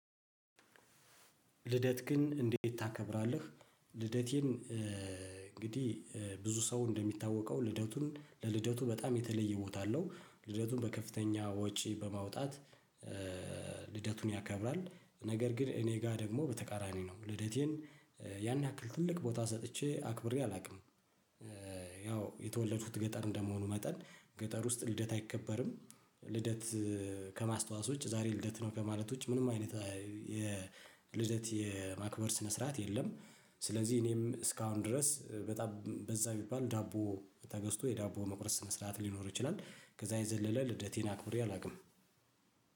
ልደትክን እንዴት ታከብራለህ? ልደቴን እንግዲህ ብዙ ሰው እንደሚታወቀው ልደቱን ለልደቱ በጣም የተለየ ቦታ አለው ልደቱን በከፍተኛ ወጪ በማውጣት። ልደቱን ያከብራል። ነገር ግን እኔ ጋር ደግሞ በተቃራኒ ነው ልደቴን። ያን ያክል ትልቅ ቦታ ሰጥቼ አክብሬ አላውቅም። ያው የተወለዱት ገጠር እንደመሆኑ መጠን ገጠር ውስጥ ልደት አይከበርም። ልደት ከማስተዋስ ውጭ ዛሬ ልደት ነው ከማለት ውጭ ምንም አይነት የልደት የማክበር ስነ ስርዓት የለም። ስለዚህ እኔም እስካሁን ድረስ በጣም በዛ ቢባል ዳቦ ተገዝቶ የዳቦ መቁረስ መስራት ሊኖር ይችላል ከዛ የዘለለ ልደቴን አክብሬ አላውቅም